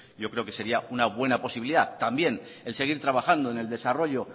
yo creo que sería una buena posibilidad también el seguir trabajando en el desarrollo